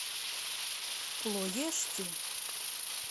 плоешти